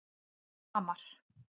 Hamar